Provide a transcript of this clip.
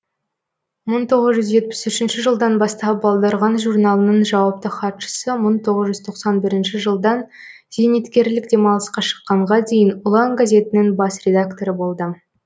мың тоғыз жүз жетпіс үшінші жылдан бастап балдырған журналының жауапты хатшысы мың тоғыз жүз тоқсан бірінші жылдан зейнеткерлік демалысқа шыққанға дейін ұлан газетінің бас редакторы болды